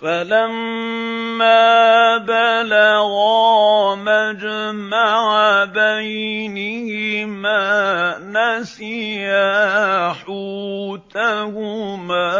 فَلَمَّا بَلَغَا مَجْمَعَ بَيْنِهِمَا نَسِيَا حُوتَهُمَا